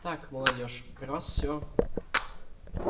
так молодёжь про вас всё